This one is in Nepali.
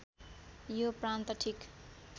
यो प्रान्त ठिक